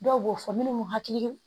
Dɔw b'o fɔ minnu m'u hakili